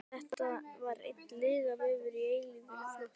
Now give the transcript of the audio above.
Þetta var einn lygavefur og eilífur flótti.